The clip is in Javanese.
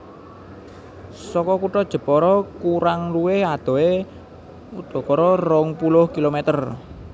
Saka kutha Jepara kurang luwih adohe udakara rong puluh kilometer